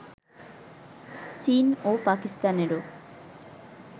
চীন ও পাকিস্তানেরও